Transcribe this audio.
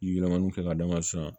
Yirimanniw k'a dama sisan